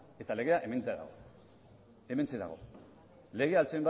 eta legea hementxe dago legea